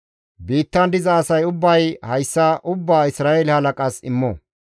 Biittan diza asay ubbay hayssa ubbaa Isra7eele halaqas immo.